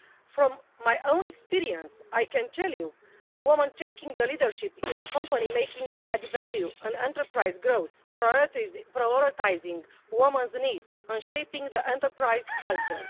From my own experience I can tell you that women taking the leadership in the company makes for added value and enterprise growth, prioritising women's needs in shaping the enterprise culture.